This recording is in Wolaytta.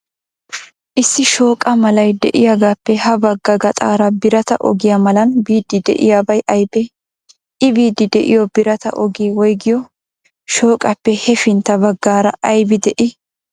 Issi shooqa malay de'iyaagaappe ha bagga gaxaara birata ogiya malan biiddi de'iyaabay aybee? I biiddi de'iyoo birata ogiya woygiyoo? Shooqaappe hefintta baggaara aybi de'ii?